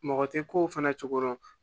Mɔgɔ tɛ ko fɛnɛ cogo dɔn